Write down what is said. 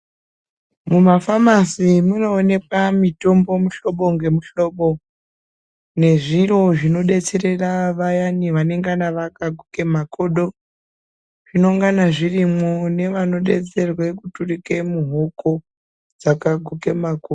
Mumafamasi munoonekwa mitombo muhlobo ngemihlobo nezviro zvinodetserera vayani vanenge vakaguka makodo zvinongana zvirimwo nevanodetserwe kuturike mihoko dzakaguke makodo.